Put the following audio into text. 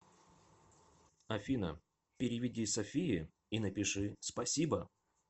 афина переведи софии и напиши спасибо